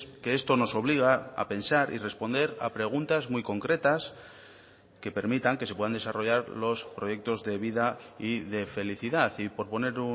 que esto nos obliga a pensar y responder a preguntas muy concretas que permitan que se puedan desarrollar los proyectos de vida y de felicidad y por poner